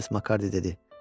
Missis Makarddi dedi.